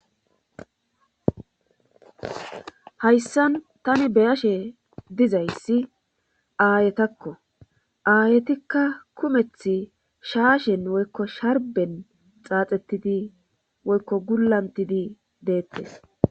Hayssan tani beyashe dizayssi aayetakko aayetikka kumeth shaashen woykko sharben xaaxettidi woykko gulantidi deettes